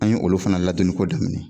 An ye olu fana ladonni ko daminɛ